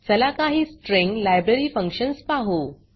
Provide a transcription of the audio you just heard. चला काही string library functions पाहु